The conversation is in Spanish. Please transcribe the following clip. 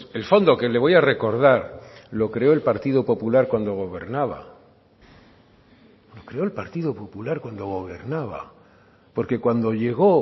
el fondo que le voy a recordar lo creó el partido popular cuando gobernaba lo creó el partido popular cuando gobernaba porque cuando llego